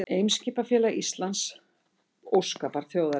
Eimskipafélag Íslands, óskabarn þjóðarinnar